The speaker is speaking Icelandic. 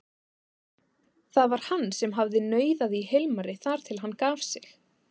Það var hann sem hafði nauðað í Hilmari þar til hann gaf sig.